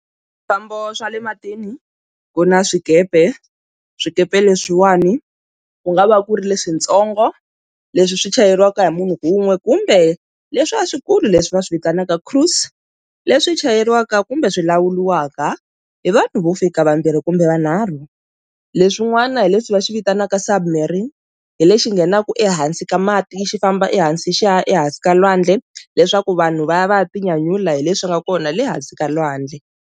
Swifambo swa le matini ku na swikepe swikepe leswiwani ku nga va ku ri leswintsongo leswi swi chayeriwaka hi munhu wun'we kumbe leswi a swikulu leswi va swi vitanaka cruise leswi chayeriwaka kumbe swi lawuriwaka hi vanhu vo fika vambirhi kumbe vanharhu leswin'wana hi leswi va xi vitanaka submarine hi lexi nghenaka ehansi ka mati xi famba ehansi xa ehansi ka lwandle leswaku vanhu va ya va ya tinyanyula hi leswi nga kona le hansi ka lwandle